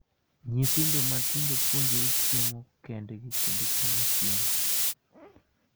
Nyithindo matindo puonjore chiemo kendgi kendo chamo chiemo .